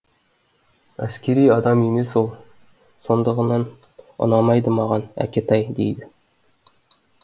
әскери адам емес ол сондығынан ұнамайды маған әкетай дейді